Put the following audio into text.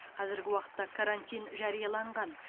қазіргі уақытта карантин жарияланған